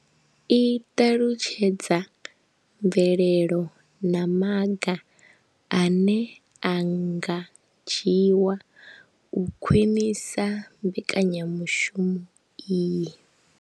I ṱalutshedza mvelelo na maga ane a nga dzhiwa u khwinisa mbekanya mushumo iyi.